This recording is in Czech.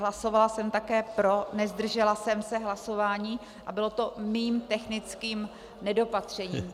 Hlasovala jsem také pro, nezdržela jsem se hlasování a bylo to mým technickým nedopatřením.